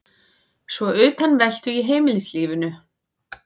Svo utanveltu í heimilislífinu.